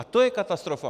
A to je katastrofa.